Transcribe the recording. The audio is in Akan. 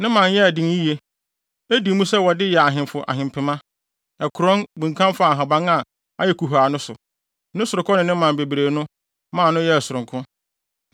Ne mman yɛɛ den yiye; edi mu sɛ wɔde yɛ ahemfo ahempema. Ɛkorɔn, bunkam faa nhaban a ayɛ kuhaa no so, ne sorokɔ ne ne mman bebree no maa no yɛɛ sononko.